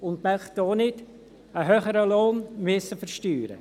Sie möchten auch nicht einen höheren Lohn versteuern müssen.